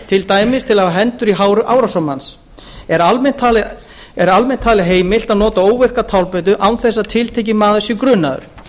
til dæmis til að hafa hendur í hári árásarmanns er almennt talið heimilt að nota óvirka tálbeitu án þess að tiltekinn maður sé grunaður